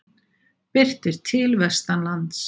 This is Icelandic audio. Birtir til vestanlands